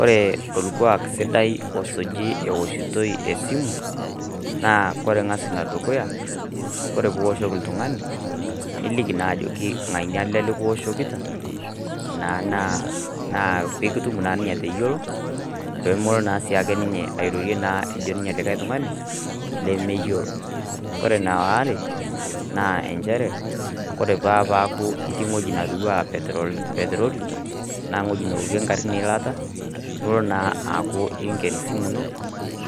Ore olkuak sidai osuji eoshitoi esimu naa, naa kore ing'as ene dukuya, ore pee ioshoki oltung'ani, niliki naa ajoki ng'ania ele lekioshokita, naa pee kitum naa ninye atayiolou, peemelo naa ninye sii ake airorie ejoito likai tung'ani, lemeyiolo. Ore ene aare, naa nchere ore pee eaku itii ewueji natiu anaa petroli, anaa iwuetin naokie ing'arin eilata, nilo naa aaku inken esimu ino